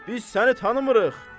Biz səni tanımırıq.